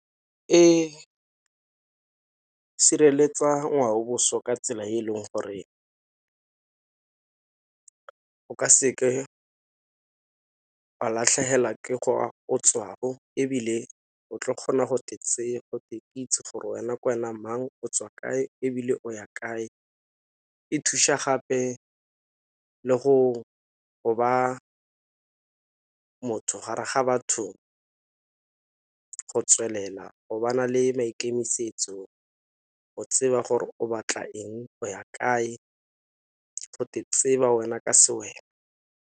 E sireletsa ngwao boswa ka tsela e e leng gore o ka sekeke latlhegelwa ke ebile o tla kgona gote itse gore wena ke wena mang o tswa kae ebile o ya kae, e thuša gape le go ba motho gare ga batho go tswelela go ba na le maikemisetso o tseba gore o batla eng o ya kae gote tseba wena ka se wena.